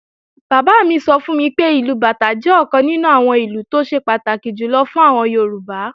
Bàbá mi sọ fún mi pé, ìlù bàtá jẹ́ ọ̀kan nínú àwọn ìlù tó ṣe pàtàkì jùlọ fún àwọn Yorùbá